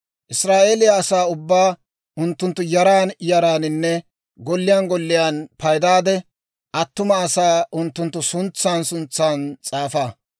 «Israa'eeliyaa asaa ubbaa unttunttu yaran yaraaninne golliyaan golliyaan paydaade, attuma asaa unttunttu suntsan suntsan s'aafa.